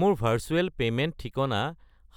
মোৰ ভাৰ্চুৱেল পে'মেণ্ট ঠিকনা